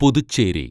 Puducherry